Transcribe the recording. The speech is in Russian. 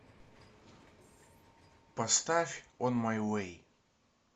поставь он май вей